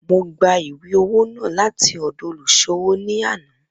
Mo gba iwe-owo naa lati ọdọ oluṣowo ni ana.